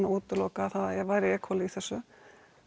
útiloka að það væri e Cola í þessu